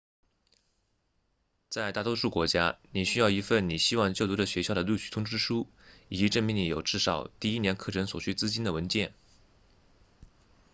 在大多数国家你需要一份你希望就读的学校的录取通知书以及证明你有至少第一年课程所需资金的文件